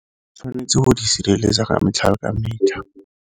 Tshwanetse go di sireletsa ka metlha le ka metlha.